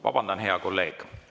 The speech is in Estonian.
Vabandust, hea kolleeg!